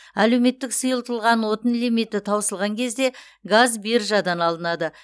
әлеуметтік сұйытылған отын лимиті таусылған кезде газ биржадан алынады